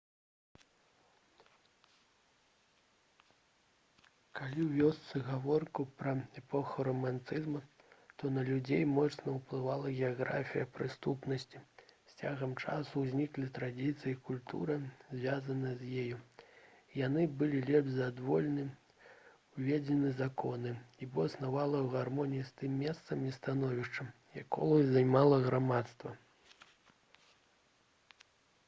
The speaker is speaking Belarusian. калі весці гаворку пра эпоху рамантызму то на людзей моцна ўплывала геаграфія прысутнасці з цягам часу ўзнікалі традыцыі і культура звязаныя з ёй яны былі лепш за адвольна ўведзеныя законы бо існавалі ў гармоніі з тым месцам і становішчам якое займала грамадства